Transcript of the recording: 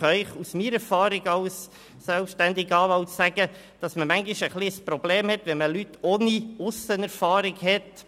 Ich kann Ihnen aus meiner Erfahrung als selbstständiger Anwalt sagen, dass es manchmal ein Problem ist, Leute ohne Aussenerfahrung zu haben.